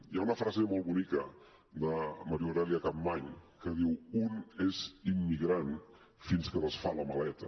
hi ha una frase molt bonica de maria aurèlia capmany que diu un és immigrant fins que desfà la maleta